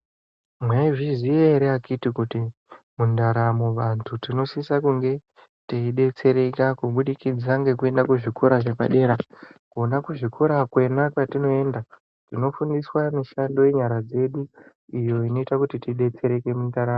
Mwaizviziya ere akiti kuti mundaramo vantu tinosisa kunge teidetsereka kubudikida ngekuenda kuzvikora zvepadera? Kona kuzvikora kwena kwatinoenda, tinofundiswa mishando yenyara dzedu iyo inoita kuti tidetsereke mundaramo.